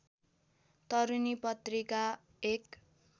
तरूनी पत्रिका एक